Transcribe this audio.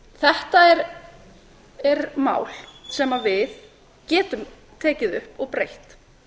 þetta er mál sem við getum tekið upp og breytt